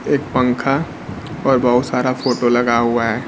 एक पंखा और बहुत सारा फोटो लगा हुआ है।